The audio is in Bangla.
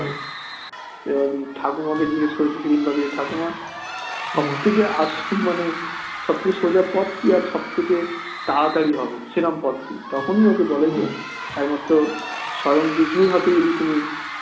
ঠাকুমা কে জিজ্ঞাসা করেছি সেদিন ঠাকুমা সব থেকে আসল মানে সব থেকে সোজা পথ কি আর সব থেকে তাড়াতাড়ি হবে সেরম পথ কি তখনি ওকে বলে যে একমাত্র স্বয়ং বিষ্ণুর হাতে যদি তুমি